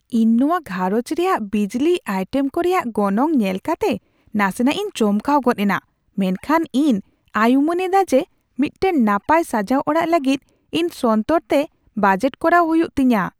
ᱤᱧ ᱱᱚᱶᱟ ᱜᱷᱟᱸᱨᱚᱡᱽ ᱨᱮᱭᱟᱜ ᱵᱤᱡᱽᱞᱤ ᱟᱭᱴᱮᱢ ᱠᱚ ᱨᱮᱭᱟᱜ ᱜᱚᱱᱚᱝ ᱧᱮᱞ ᱠᱟᱛᱮ ᱱᱟᱥᱮᱱᱟᱜ ᱤᱧ ᱪᱚᱢᱠᱟᱣ ᱜᱚᱫ ᱮᱱᱟ, ᱢᱮᱱᱠᱷᱟᱱ ᱤᱧ ᱟᱭᱩᱢᱟᱹᱱ ᱮᱫᱟ ᱡᱮ ᱢᱤᱫᱴᱟᱝ ᱱᱟᱯᱟᱭ ᱥᱟᱡᱟᱣ ᱚᱲᱟᱜ ᱞᱟᱹᱜᱤᱫ ᱤᱧ ᱥᱚᱱᱛᱚᱨ ᱛᱮ ᱵᱟᱡᱮᱴ ᱠᱚᱨᱟᱣ ᱦᱩᱭᱩᱜ ᱛᱤᱧᱟᱹ ᱾